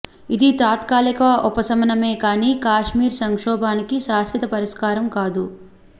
ఇది తాత్కాలిక ఉపశమనమే కానీ కశ్మీర్ సంక్షోభానికి శాశ్వత పరిష్కారం కాదు